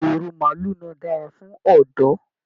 Ìrù maálù náà dára fún ọdọ́.